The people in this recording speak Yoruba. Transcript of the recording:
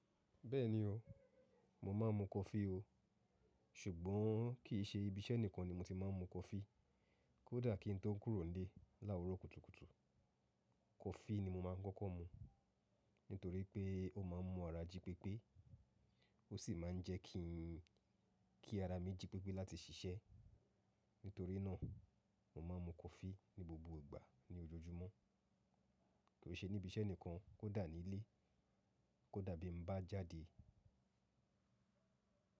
Bẹ́ẹ̀ni o, mo máa ń mu coffee o. Ṣùgbọ́n kì í ṣe ibi iṣẹ́ nìkan ni mo ti máa ń mu coffee. Kódà kí n tó kúrò nílé láwúrọ̀ kùtùkùtù, coffee ni mo máa ń kọ́kọ́ mu. Nítorí pé ó máa ń mú ara jí pépé, ó sì máa ń jẹ́ kí, kí ara mi jí pépé láti ṣiṣẹ́. Nítorí náà, mo máa ń mu coffee ní gbogbo ìgbà ní ojoojúmọ́. Kì í ṣe ní ibi iṣẹ́ nìkan, kó dà ní ilé, kó dà bí mo bá jáde.